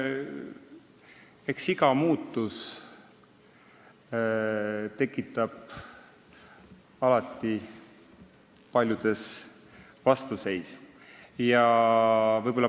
Eks iga muutus tekitab alati paljudes vastuseisu.